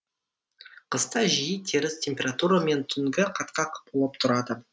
қыста жиі теріс температура мен түнгі қатқақ болып турады